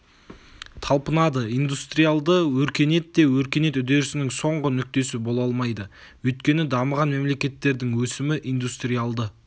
талпынады индустриалды өркениет те өркениет үдерісінің соңғы нүктесі бола алмайды өйткені дамыған мемлекеттердің өсімі индустриалды